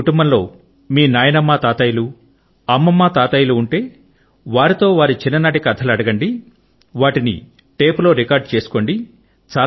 మీరు కుటుంబములో మీ నాయనమ్మ తాతయ్యలు అమ్మమ్మ తాతయ్యలు ఉంటే గనక వారితో వారి చిన్ననాటి కథలు అడగండి వాటిని టేపులో రికార్డు చేసుకోండి